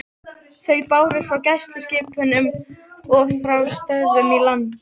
Þau bárust frá gæsluskipunum og frá stöðvum í landi.